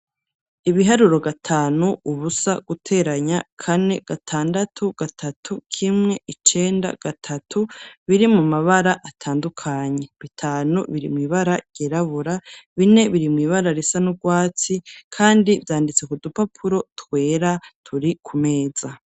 Ibiharuro gatanu, ubusa guteranya kane gatandatu gatatu, k'imwe, icenda gatatu biri mu mabara atandukanye. Bitanu biri mu ibara ryerabura bine biri mu ibara risa n'ubwatsi kandi byanditse ku dupapuro twera turi ku meza.